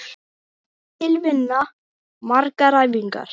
Mikil vinna, margar æfingar